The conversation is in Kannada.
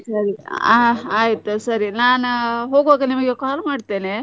ಸರಿ ಹಾ ಆಯ್ತು ಸರಿ ಆ ನಾನ ಹೋಗ್ವಾಗ ನಿಮಿಗೆ call ಮಾಡ್ತೇನೆ.